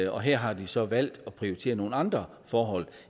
og her har de så valgt at prioritere nogle andre forhold